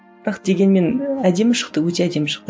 бірақ дегенмен әдемі шықты өте әдемі шықты